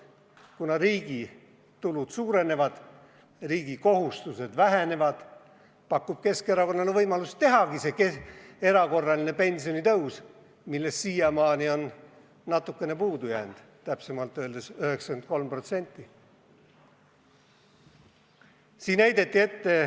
Kuna riigi tulud suurenevad, riigi kohustused vähenevad, saab Keskerakond võimaluse tehagi see erakorraline pensionitõus, millest siiamaani on natukene või täpsemalt öeldes 93% puudu jäänud.